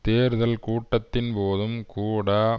தேர்தல் கூட்டத்தின் போதும் கூட